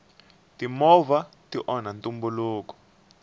timovha ti onha ntumbuluko